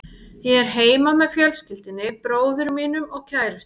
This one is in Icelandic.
Ég er heima með fjölskyldunni, bróður mínum og kærustunni.